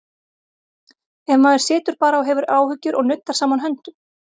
Ef maður situr bara og hefur áhyggjur og nuddar saman höndum?